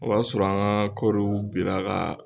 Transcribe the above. O b'a sɔrɔ an ka kɔɔriw bira ka